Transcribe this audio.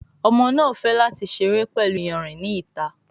Ọmọ náa fè láti seré pẹlú iyanrìn ní ìta.